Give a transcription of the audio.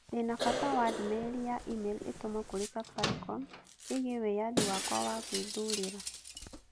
Ndĩ na bata wa ndũmĩrĩri ya e-mail ĩtũmwo kũrĩ Safaricom ĩgiĩ wĩyathi wakwa wa gwĩthuurĩra